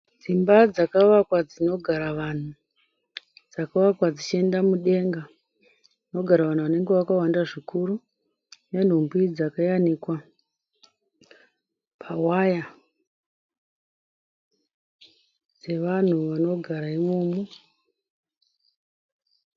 Dzimba dzakavakwa dzinogara vanhu. Dzakavakwa dzichienda mudenga. Dzinogara vanhu vanenge vakawanda zvikuru nenhumbi dzakayanikwa pawaya dzevanhu vanogara imomo.